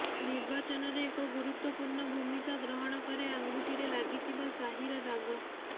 ନିର୍ବାଚନରେ ଏକ ଗୁରୁତ୍ବପୂର୍ଣ୍ଣ ଭୂମିକ ଗ୍ରହଣ କରେ ଆଙ୍ଗୁଠିରେ ଲାଗିଥିବା ସ୍ୟାହିର ଦାଗ